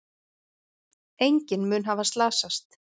Enginn mun hafa slasast.